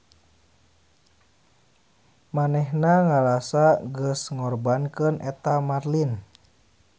Manehna ngarasa geus ngorbankeun eta marlin.